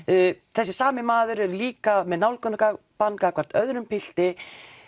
þessi sami maður er líka með nálgunarbann gagnvart öðrum pilti